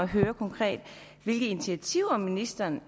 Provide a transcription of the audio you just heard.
høre konkret hvilke initiativer ministeren